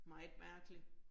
Meget mærkeligt